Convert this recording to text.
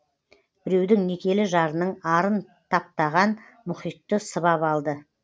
біреудің некелі жарының арын таптаған мұхитты сыбап алды